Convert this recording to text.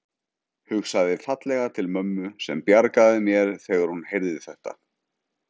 Hugsaði fallega til mömmu sem bjargaði mér þegar hún heyrði þetta.